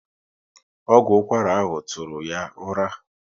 Ọgwụ ụkwara ahụ tụrụ ya ụra